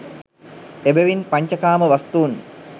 එබැවින් පඤ්චකාම වස්තුන්